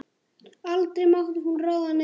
Aldrei mátti hún ráða neinu.